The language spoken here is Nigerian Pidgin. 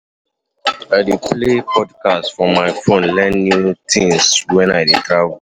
I dey play podcasts for my phone, learn new tins wen I dey travel.